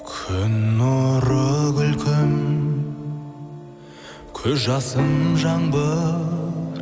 күн нұры күлкің көз жасың жаңбыр